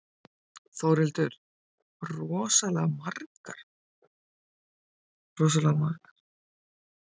Þórhildur: Rosalega margar?